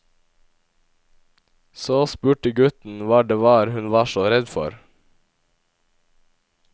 Så spurte gutten hva det var hun var så redd for.